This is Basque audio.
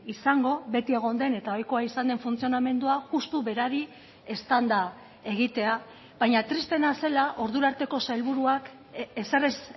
izango beti egon den eta ohikoa izan den funtzionamendua justu berari eztanda egitea baina tristeena zela ordura arteko sailburuak ezer ez